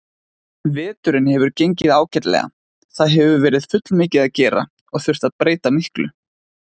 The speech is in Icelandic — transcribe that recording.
Veturinn hefur gengið ágætlega, það hefur verið fullmikið að gera og þurft að breyta miklu.